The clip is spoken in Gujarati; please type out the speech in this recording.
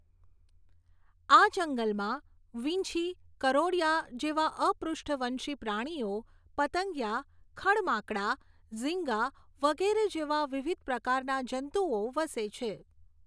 આ જંગલમાં વીંછી, કરોળિયા જેવા અપૃષ્ઠવંશી પ્રાણીઓ, પતંગિયા, ખડ્માંકડા, ઝીંગા વગેરે જેવા વિવિધ પ્રકારના જંતુઓ વસે છે.